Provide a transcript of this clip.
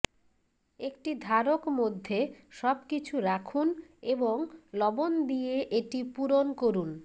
একটি ধারক মধ্যে সবকিছু রাখুন এবং লবণ দিয়ে এটি পূরণ করুন